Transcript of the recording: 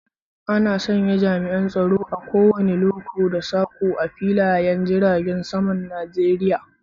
An sanya jami'an tsaro a kowanne loko da sako a filayen jiragen saman Najeriya.